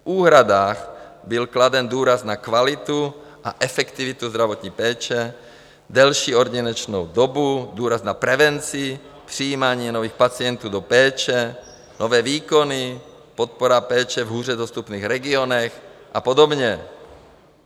V úhradách byl kladen důraz na kvalitu a efektivitu zdravotní péče, delší ordinační dobu, důraz na prevenci, přijímání nových pacientů do péče, nové výkony, podpora péče v hůře dostupných regionech a podobně.